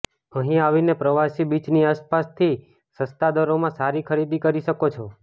અહીં આવીને પ્રવાસી બીચની આસ પાસથી સસ્તા દરોમાં સારી ખરીદી કરી શકો છો